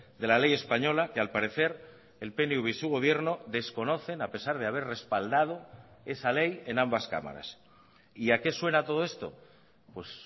de la ley española que al parecer el pnv y su gobierno desconocen a pesar de haber respaldado esa ley en ambas cámaras y a qué suena todo esto pues